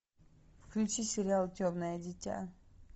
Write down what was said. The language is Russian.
включи сериал темное дитя